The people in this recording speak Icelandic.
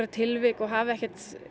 tilvik og hafi ekkert